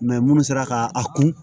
minnu sera ka a kun